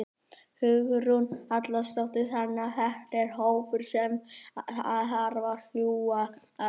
Hugrún Halldórsdóttir: Þannig að þetta er hópur sem að þarf að hlúa að?